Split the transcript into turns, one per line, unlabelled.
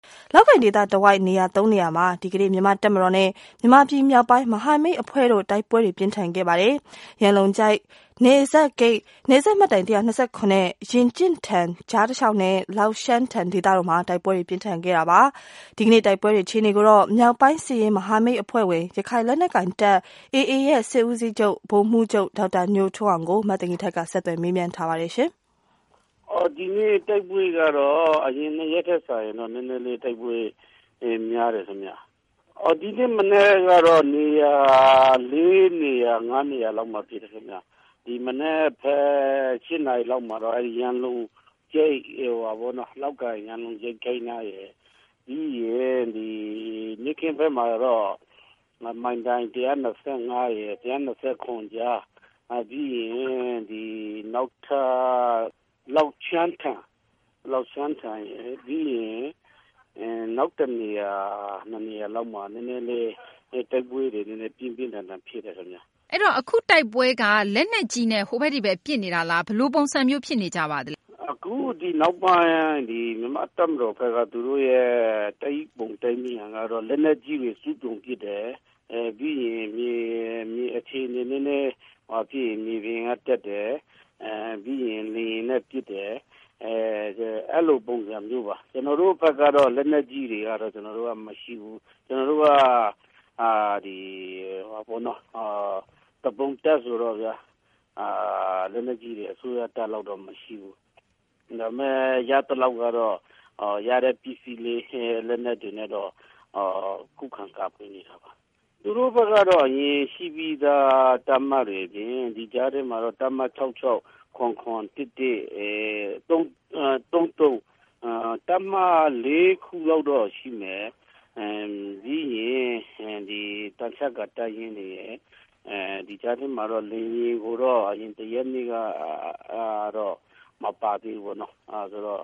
လောက်ကိုင် ဒေသတဝိုက် နေရာ သုံးနေရာမှာ ဒီကနေ့ မြန်မာ့ တပ်မတော်နဲ့ မြန်မာပြည် မြောက်ပိုင်း မဟာမိတ် အဖွဲ့တို့ တိုက်ပွဲတွေ ပြင်းထန်ခဲ့ပါတယ်။ ရန်လုံကျိုက် နယ်စပ်ဂိတ်၊ နယ်စပ်မိုင်တိုင် အမှတ် ၁၂၇ နဲ့ ရင်ကျင့်ထန်ကြား တလျှောက်နဲ့ လောက်ရှန်းထန် ဒေသတို့မှာ တိုက်ပွဲတွေ ပြင်းထန်ခဲ့တာပါ။ ဒီကနေ့ တိုက်ပွဲတွေ အခြေအနေကိုတော့ မြောက်ပိုင်း စစ်ရေး မဟာမိတ် အဖွဲ့ဝင် ရခိုင်လက်နက်ကိုင်တပ် AA ရဲ့ စစ်ဦးစီးချုပ် ဗိုလ်မှူးချုပ် ဒေါက်တာ ညိုထွန်းအောင်ကို မသိင်္ဂ ီထိုက် ဆက်သွယ်မေးမြန်းတဲ့အချိန်မ
ှာ သူက အခုလိုဖြေပါတယ်။ ဖြေ။ ။ဒီကနေ့တိုက်ပွဲကတော့ အရင်ရင်ထက်စာရင်နည်းနည်းလေးများတယ်ခင်ဗျ ။ ဒီနေ့မနက်ကတော့ နေရာ ၄ နေရာ -၅ နေရာလောက်မှာ ဖြစ်တယ်ခင်ဗျ ။ ဒီမနက် ၈ နာရီလောက်မှာတော့ လောက်ကိုင် ရန်လုံကျိုက် နားရယ်၊ နေ့ခင်းဘက်မှာတော့ မိုင်တိုင် ၁၂၅- ၁၂၇ကြား ၊ လောက်ရှန်းထန်ရယ် နောက် ၁ နေရာ ၂ နေရာလောက်မှာ နည်းနည်းလေး တိုက်ပွဲတွေ ပြင်းပြင်းထန်ထန်တွေဖြစ်တယ်ခင်ဗျ။ မေး။ ။
အဲဒီတော့ အခုတိုက်ပွဲက လက်နက်ကြီးနဲ့ ဟိုဘက် ဒီဘက် ပစ်နေတာလား ဘယ်လိုပုံစံဖြစ်နေပါသလဲရှင့်။ ဖြေ။ ။အခ
ုနောက်ပိုင်း မြန်မာ့တပ်မတော်ဘက်က သူတို့ရဲ့ တိုက်ပုံကတော့ လက်နက်ကြီးတွေ အစွမ်းကုန်ပစ်တယ်။ မြေပြင်အခြေအနေနည်းနည်းငြိမ်ရင် မြေပြင်က တက်တယ်။ ပြီးရင် လေယာဉ်နဲ့ ပစ်တယ်။ အဲလိုပုံစံမျိုးပါ ကျနော်တို့ဘက်ကတော့ လက်နက်ကြီးတွေကတော့ ကျနော်တို့က မရှိဘူး ကျနော်တို့က သူပုန်တပ်ဆိုတော့ လက်နက်ကြီးတွေ အစိုးရတပ်လောက်တော့မရှိဘူး ။ ရသလောက်ကတော့ ရတဲ့ ပစ္စည်းလေး လက်နက်တွေနဲ့ကတော့ ခုခံကာကွယ်နေတာပါ။ သူတို့ဘက်ကတော့ ဒီရှိပြီးသား တပ်မတွေအပြင် ဒီကြားထဲမှာတော့ တပ်မ ၆၆၊ ၇၇ တွေ ၊ ၁၁၊၃၃ အဲဒီ တပ်မ ၄ ခုလောက်တော့ရှိမယ်။ ပြီးရင် သံချပ်ကာ တပ်ရင်းတွေရယ် ဒီကြားထဲမှာတော့ လေယာဉ်ကိုတော့ အရင် ၁ ရက်နေ့ကတော့ မပါသေးဘူးပေါ့နော် ၊ အဲဒီတော့